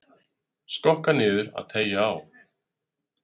Skokka niður og teygja á.